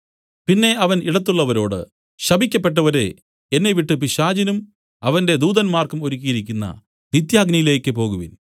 പിന്നെ അവൻ ഇടത്തുള്ളവരോട് ശപിക്കപ്പെട്ടവരെ എന്നെവിട്ടു പിശാചിനും അവന്റെ ദൂതന്മാർക്കും ഒരുക്കിയിരിക്കുന്ന നിത്യാഗ്നിയിലേക്ക് പോകുവിൻ